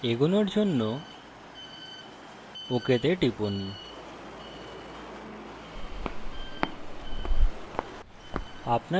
এগোনোর জন্য ok তে টিপুন